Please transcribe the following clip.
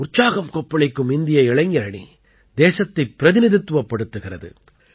உற்சாகம் கொப்பளிக்கும் இந்திய இளைஞர் அணி தேசத்தைப் பிரதிநிதித்துவப்படுத்துகிறது